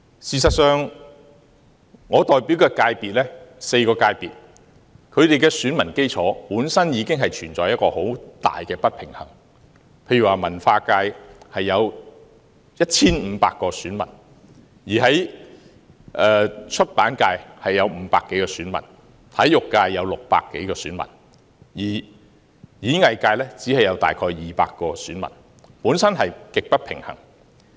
事實上，我所代表的4個界別，選民基礎本身已經存在很大的不平衡，例如文化界有 1,500 名選民，出版界有500多名選民，體育界有600多名選民，演藝界只有大約200名選民，本身極不平衡。